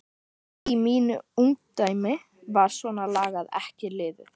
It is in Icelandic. Í mínu ungdæmi var svona lagað ekki liðið.